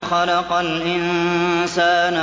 خَلَقَ الْإِنسَانَ